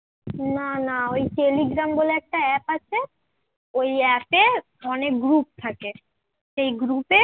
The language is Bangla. না না ওই telegram বলে একটা app আছে ওই app এ অনেক group থাকে । সেই group এ